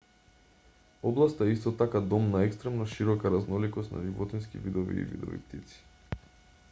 областа е исто така дом на екстремно широка разноликост на животински видови и видови птици